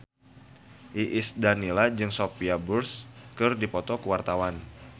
Iis Dahlia jeung Sophia Bush keur dipoto ku wartawan